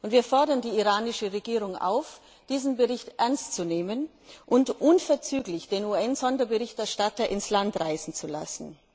Wir fordern die iranische Regierung auf, diesen Bericht ernst zu nehmen und unverzüglich den UN Sonderberichterstatter ins Land reisen zu lassen.